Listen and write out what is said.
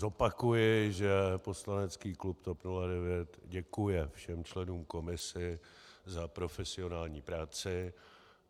Zopakuji, že poslanecký klub TOP 09 děkuje všem členům komise za profesionální práci.